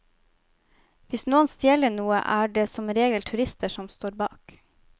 Hvis noen stjeler noe, er det som regel turister som står bak.